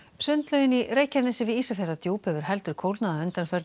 sundlaugin í Reykjanesi við Ísafjarðardjúp hefur heldur kólnað að undanförnu